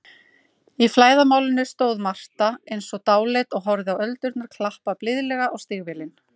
Í flæðarmálinu stóð Marta eins og dáleidd og horfði á öldurnar klappa blíðlega á stígvélin.